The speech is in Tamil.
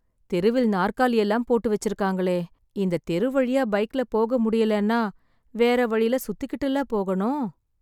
தெருவில் நாற்காலி எல்லாம் போட்டு வெச்சிருக்காங்களே... இந்த தெரு வழியா பைக்ல போக முடியலன்னா, வேற வழில சுத்திகிட்டுல போகணும்...